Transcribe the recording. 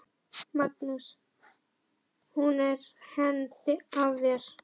Magnús: Hún er hænd að þér?